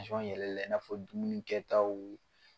yɛlɛla i n'a fɔ dumuni kɛtaw.